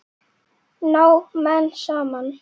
Ná menn saman?